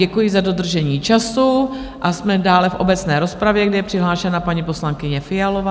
Děkuji za dodržení času a jsme dále v obecné rozpravě, kde je přihlášena paní poslankyně Fialová.